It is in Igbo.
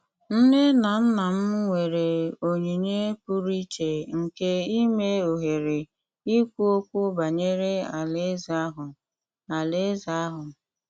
Nne na nna m nwere onyinye pụrụ iche nke ime ohere ikwu okwu banyere Alaeze ahụ. Alaeze ahụ.